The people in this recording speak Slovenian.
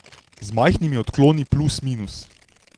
Z majhnimi odkloni plus minus.